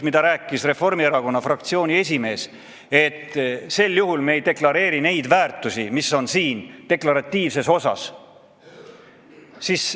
Reformierakonna fraktsiooni esimees rääkis siin seda juttu, et sel juhul me ei deklareeri neid väärtusi, mis on siin deklaratiivses osas.